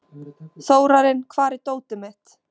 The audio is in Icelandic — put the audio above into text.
Þórarinn, hvar er dótið mitt?